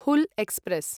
Hool express